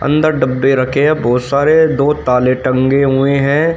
अंदर डब्बे रखे हैं बहोत सारे दो ताले टंगे हुए हैं।